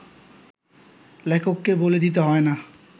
লেখককে বলে দিতে হয় না